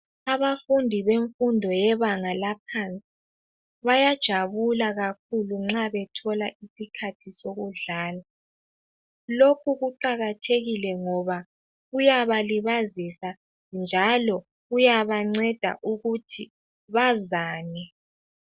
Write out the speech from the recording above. Abafundi bemfundo yebanga laphansi bayajabula kakhulu nxa bethola isikhathi sokudlala. Lokhu kuqakathekile ngoba kuyabalibazisa njalo kuyabanceda ukuthi bazane.